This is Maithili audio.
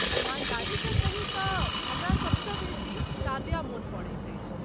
ईमानदारीसँ कही तऽ हमरा सभसँ बेसी सादया मोन पड़ैत अछि।